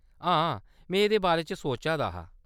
हां, में एह्‌‌‌दे बारे च सोचा दा हा।